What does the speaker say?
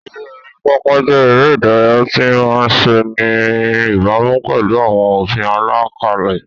Eré orí pápá jẹ́ eré ìdárayá tí a máa ń ṣe ní ìbámu pẹ̀lú àwọn òfin àlàkalẹ̀.